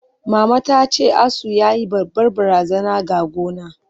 Mama tace, asu yayi babbar barazana ga gona.